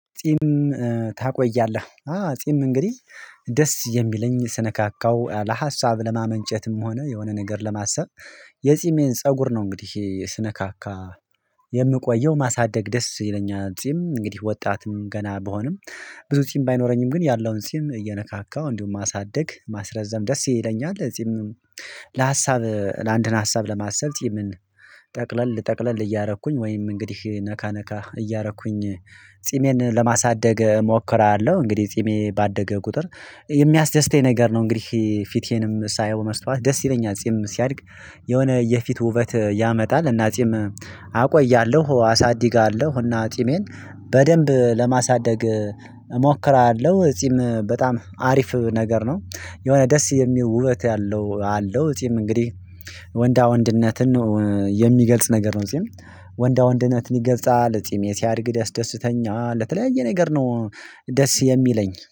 ጺም ታቆያለህ አ ጺም እንግዲህ ደስ የሚለኝ ስነካካው ለሀሳብ ለማመንጨትም ሆነ የሆነ ነገር ለማሰብ የጺሜን ፀጉር ነው እንግዲህ ስነካካ የምቆየው ማሳደግ ደስ ይለኛል። ጺም እንግዲህ ወጣትም ገና ብሆንም ብዙ ጺም ባይኖረኝም ግን ያለውን ጺም እየነካካው እንዲሁም ማሳደግ ማስረዘም ደስ ይለኛል። ጺም ለሀሳብ ለአንድን ሀሳብ ለማሰብ ጺምን ጠቅለል ጠቅለል እያረኩኝ ወይም እንግዲህ ነካ ነካ እያረኩኝ ጺሜን ለማሳደግ እሞክራለሁ። እንግዲህ ጺሜ ባደገ ቁጥር የሚያስደስተኝ ነገር ነው። እንግዲህ ፊቴንም ሳየው መስታወት ደስ ይለኛል። ጺም ሲያድግ የሆነ የፊት ውበት ያመጣል። እና ጺም አቆያለሁ አሳድጋለሁ እና ጺሜን በደንብ ለማሳደግ እሞክራለሁ። ጺም በጣም አሪፍ ነገር ነው የሆነ ደስ የሚል ውበት አለው። እግዲህ ወንዳ ወንድነትን የሚገልጽ ነገር ነው። ጺም ወንዳ ወንድነት ይገልጻል ጺሜ ሲያድግ ደስ ደስተኛል። ለተለያየ ነገር ነው ደስ የሚለኝ